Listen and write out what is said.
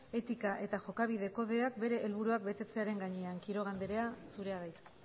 etika eta jokabide kodeak bere helburuak betetzearen gainean quiroga andrea zurea da hitza